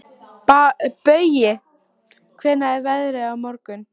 Baui, hvernig er veðrið á morgun?